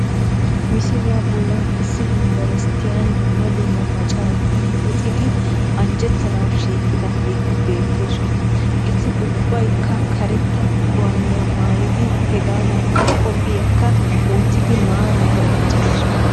Misiliya bollan issi yumbberesttiyan dumma dumma macaratuun luxidi anjjettanawu shiiqidaageeti beettoosona. Eti ubbaakka karetta gawaaniya maayidi hegaadankka qophiyakka wottidi maaraara uttidosona